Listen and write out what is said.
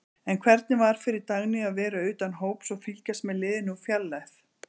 En hvernig var fyrir Dagnýju að vera utan hóps og fylgjast með liðinu úr fjarlægð?